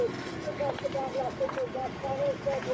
Ona qardaş bağlayıbdır, gəl.